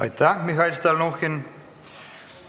Aitäh, Mihhail Stalnuhhin!